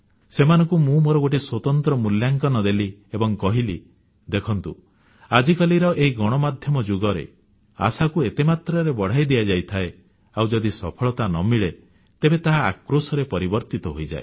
ସେମାନଙ୍କୁ ମୁଁ ମୋର ଗୋଟିଏ ସ୍ୱତନ୍ତ୍ର ମୂଲ୍ୟାଙ୍କନ ଦେଲି ଏବଂ କହିଲି ଦେଖନ୍ତୁ ଆଜିକାଲିର ଏହି ଗଣମାଧ୍ୟମ ଯୁଗରେ ଆଶାକୁ ଏତେ ମାତ୍ରାରେ ବଢ଼ାଇ ଦିଆଯାଇଥାଏ ଆଉ ଯଦି ସଫଳତା ନ ମିଳେ ତେବେ ତାହା ଆକ୍ରୋଶରେ ପରିବର୍ତ୍ତିତ ହୋଇଯାଏ